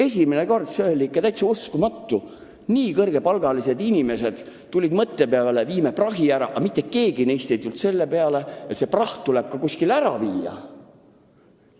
Esimene kord see oli ikka täitsa uskumatu: nii kõrge palgaga inimesed tulid mõtte peale, et viime prahi kuhugi kokku, aga mitte keegi neist ei tulnud selle peale, et kogutud praht tuleb ka kuskile ära viia.